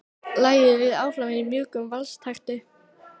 Lagið líður áfram í mjúkum valstakti.